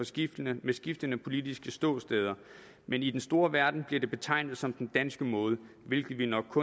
skiftende skiftende politiske ståsteder men i den store verden bliver det betegnet som den danske måde hvilket vi nok